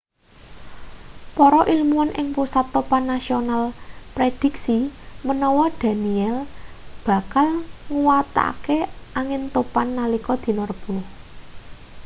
para ilmuwan ing pusat topan nasional prédhiksi menawa danielle bakal nguwatake angin topan nalika dina rebo